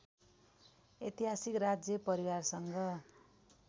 ऐतिहासिक राज्य परिवारसँग